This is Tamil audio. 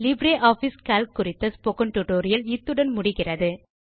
லிப்ரியாஃபிஸ் கால்க் குறித்த ஸ்போக்கன் டியூட்டோரியல் இத்துடன் நிறைவடைகிறது